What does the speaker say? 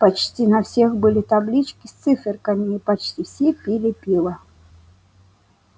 почти на всех были таблички с циферками и почти все пили пиво